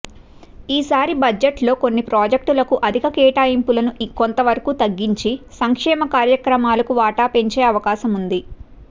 ఈసారి బడ్జెట్లో కొన్ని ప్రాజెక్టులకు అధిక కేటాయింపులను కొంతవరకు తగ్గించి సంక్షేమ కార్యక్రమాలకు వాటా పెంచే అవకాశముంది